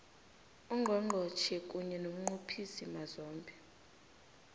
ungqongqotjhe kunye nomnqophisimazombe